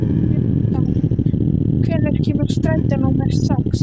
Gretar, hvenær kemur strætó númer sex?